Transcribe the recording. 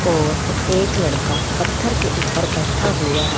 और एक लड़का पत्थर के ऊपर बैठा हुआ है।